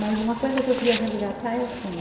Mas uma coisa que eu queria resgatar é assim.